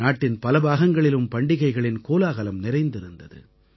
நாட்டின் பல பாகங்களிலும் பண்டிகைகளின் கோலாகலம் நிறைந்திருந்தது